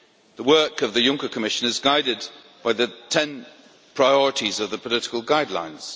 The work of the Juncker Commission is guided by the 10 priorities of the political guidelines.